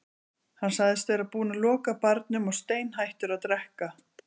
Hann sagðist vera búinn að loka barnum og steinhættur að drekka.